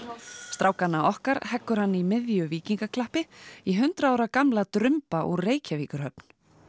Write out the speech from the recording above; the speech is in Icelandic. strákana okkar heggur hann í miðju víkingaklappi í hundrað ára gamla úr Reykjavíkurhöfn